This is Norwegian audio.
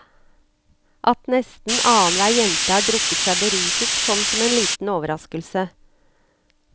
At nesten annenhver jente har drukket seg beruset, kom som en liten overraskelse.